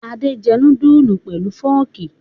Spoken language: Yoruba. Adé jẹ núdúlù pẹ̀lú fọ́ọ́kì?